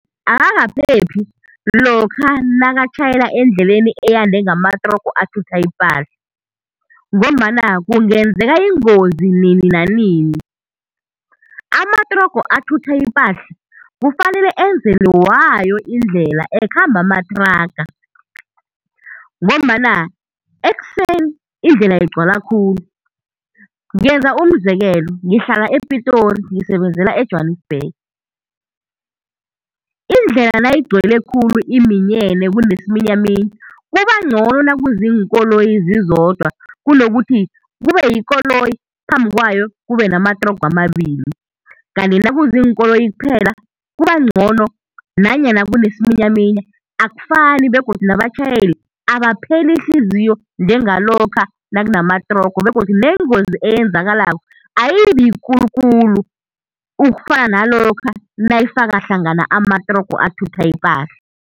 Akakaphephi lokha nakatjhayela endleleni eyande ngamatrogo athutha ipahla, ngombana kungenzeka ingozi nini nanini. Amatrogo athutha ipahla kufanele enzelwe wayo indlela ekhamba amathraga, ngombana ekuseni indlela igcwala khulu. Ngenza umzekelo, ngihlala ePitori, ngisebenzela eJwanisbhege, indlela nayigcwele khulu iminyene, kunesiminyaminya, kuba ncono nakuziinkoloyi zizodwa, kunokuthi kube yikoloyi, phambi kwayo kube namatrogo amabili. Kanti nakuziinoloyi kuphela, kuba ncono nanyana kunesiminyaminya akufani begodu nabatjhayeli abapheli ihliziyo njengalokha nakunamatrogo begodu nengozi eyenzakalako ayibi yikulu khulu, ukufana nalokha nayifaka hlangana amatrogo athutha ipahla.